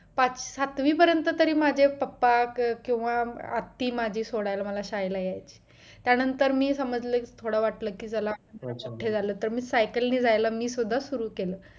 पाच सातवी पर्यंत तरी माझे पप्पा किंवा आत्ती माझी सोडायला मला शाळेला यायचे त्या नंतर मी समजले थोडा वाटलं कि चला मी मोठ झालोत सायकलने जायला सुद्धा मी सुरु केलं